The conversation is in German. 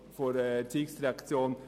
Sie haben es gehört: